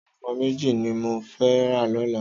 Àwòn èfòn méji ni mó fè rá lòlá